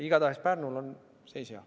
Igatahes Pärnul on seis hea.